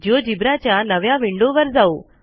GeoGebra च्या नव्या विंडोवर जाऊ